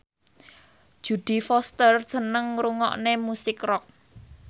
Jodie Foster seneng ngrungokne musik rock